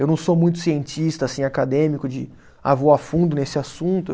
Eu não sou muito cientista, assim, acadêmico, de ah vou a fundo nesse assunto.